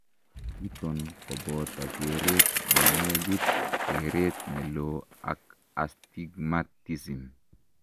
chuton koboto keret nenegit, keret neloo ak astigmatism